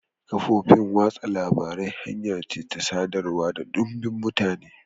Kafofin watsa labarai hanya ce ta sadarwa ga dumbin mutane.